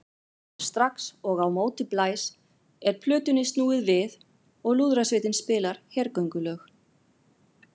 Strax og á móti blæs er plötunni snúið við og lúðrasveitin spilar hergöngulög.